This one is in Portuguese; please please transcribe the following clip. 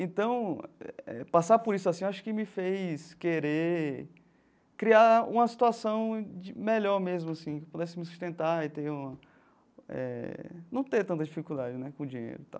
Então, passar por isso assim, acho que me fez querer criar uma situação melhor mesmo, assim, que pudesse me sustentar e ter uma eh não ter tanta dificuldade né com dinheiro e tal.